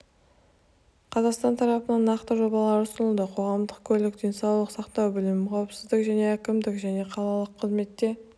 қазақстан тарапынан нақты жобалар ұсынылды қоғамдық көлік денсаулық сақтау білім қауіпсіздік және әкімдік және қалалық қызметте